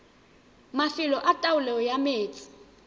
mafelo a taolo ya metsi